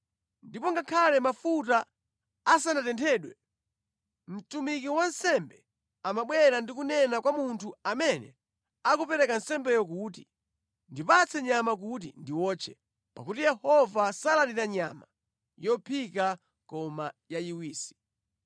Ndipo ngakhale mafuta asanatenthedwe, mtumiki wansembe amabwera ndi kunena kwa munthu amene akupereka nsembeyo kuti, “Ndipatse nyama kuti ndiwotche, pakuti Yehova salandira nyama yophika koma yayiwisi.”